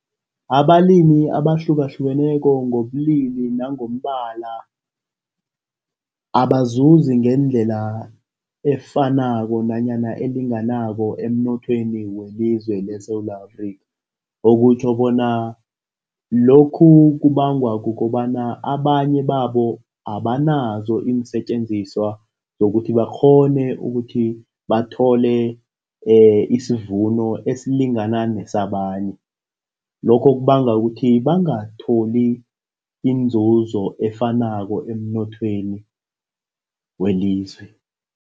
Abalimi abahlukahlukeneko ngobulili nangombala abazuzi ngendlela efanako nanyana elinganako emnothweni welizwe leSewula Afrika okutjho bona lokhu kubangwa kukobana abanye babo abanazo iinsetjenziswa zokuthi bakghone ukuthi bathole isivuno esilingana nesabanye, lokho kubanga ukuthi bangatholi inzuzo efanako emnothweni welizwe.